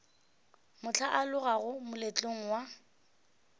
mohla o alogago moletlong wa